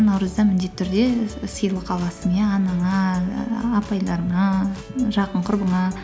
наурызда міндетті түрде сыйлық аласың иә анаңа і апайларыңа жақын құрбыңа